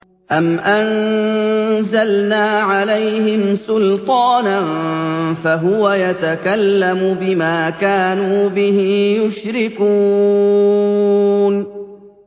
أَمْ أَنزَلْنَا عَلَيْهِمْ سُلْطَانًا فَهُوَ يَتَكَلَّمُ بِمَا كَانُوا بِهِ يُشْرِكُونَ